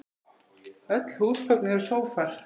Öll húsgögn eru sófar